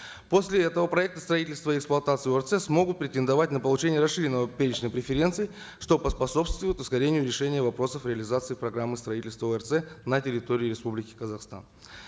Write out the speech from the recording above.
после этого проекты строительства и эксплуатации орц смогут претендовать на получение расширенного перечня преференций что поспособствует ускорению решения вопросов реализации программы строительства орц на территории республики казахстан